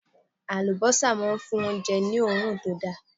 Àlùbọ́sà máa ń fún oúnjẹ ní òórùn tó da.